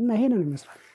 እና ይሄንን ይመስላል